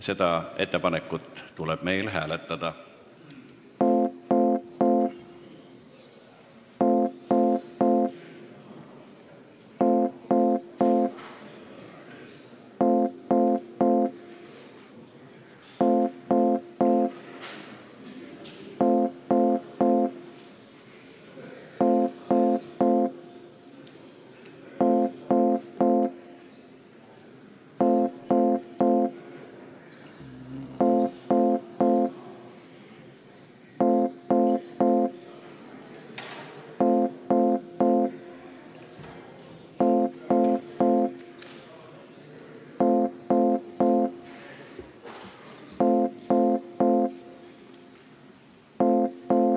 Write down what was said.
Seda ettepanekut tuleb meil hääletada.